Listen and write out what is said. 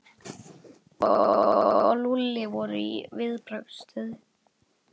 Tóti og Lúlli voru í viðbragðsstöðu.